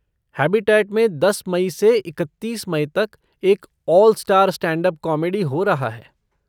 Habitat में दस मई से इकत्तीस मई तक एक 'ऑल स्टार स्टैंडअप कॉमेडी' हो रहा है।